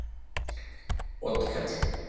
Otkell